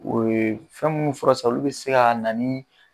O ye fɛn munnu fɔra sisan olu be se ka na ni